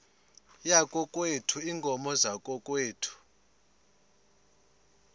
yakokwethu iinkomo zakokwethu